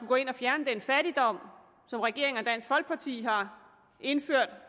gå ind og fjerne den fattigdom som regeringen og dansk folkeparti har indført